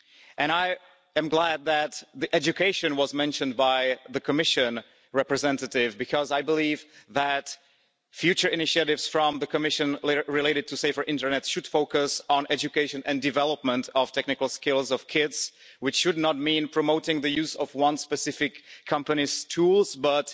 And I am glad that education was mentioned by the Commission representative because I believe that future initiatives from the Commission related to safer internet should focus on education and development of technical skills of kids, which should not mean promoting the use of one specific company's tools but